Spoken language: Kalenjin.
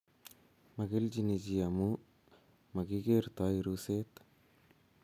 magelchini chi amu magigertoi ruset